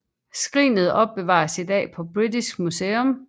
Skrinet opbevares i dag på British Museum